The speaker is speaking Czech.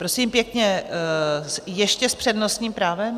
Prosím pěkně, ještě s přednostním právem?